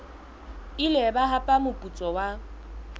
ile ba hapa moputso wa